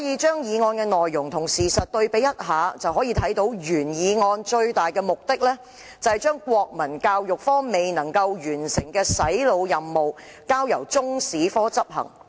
將議案內容和現實情況對比一下，便會發現原議案最大的目的，是要將國民教育科未能完成的"洗腦"任務，交由中史科執行。